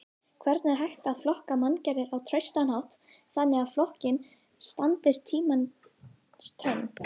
Hvernig er hægt að flokka manngerðir á traustan hátt þannig að flokkunin standist tímans tönn?